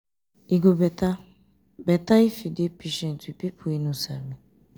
e go better better if you dey patient with pipo wey no sabi.